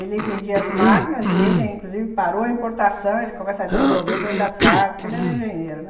Ele vendia as máquinas e ele, inclusive, parou a importação, ele começa a desenvolver dentro das fábricas, porque ele era engenheiro, né?